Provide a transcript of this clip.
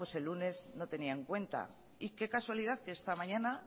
pues el lunes no tenía en cuenta y qué casualidad que esta mañana